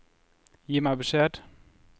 Gi meg beskjed